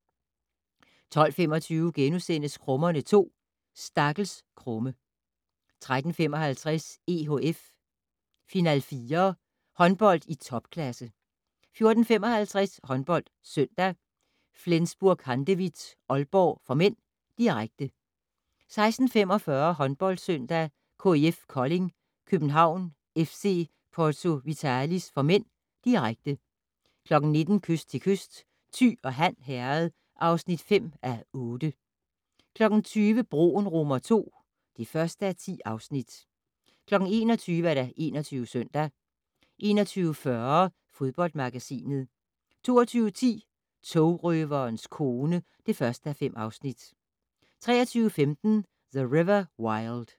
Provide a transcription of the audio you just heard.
12:25: Krummerne 2: Stakkels Krumme * 13:55: EHF Final4 - Håndbold i topklasse 14:55: HåndboldSøndag: FlensburgHandewitt-Aalborg (m), direkte 16:45: Håndboldsøndag: KIF Kolding København-FC Porto Vitalis (m), direkte 19:00: Kyst til kyst - Thy og Han Herred (5:8) 20:00: Broen II (1:10) 21:00: 21 Søndag 21:40: Fodboldmagasinet 22:10: Togrøverens kone (1:5) 23:15: The River Wild